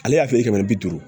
Ale y'a feere kɛmɛ ni bi duuru